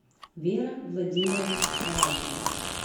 вера владимировна сарайкина